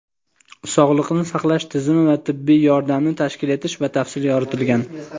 Sog‘liqni saqlash tizimi va tibbiy yordamni tashkil etish batafsil yoritilgan.